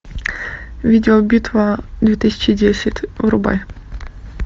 видеобитва две тысячи десять врубай